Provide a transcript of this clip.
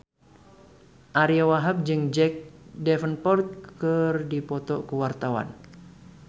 Ariyo Wahab jeung Jack Davenport keur dipoto ku wartawan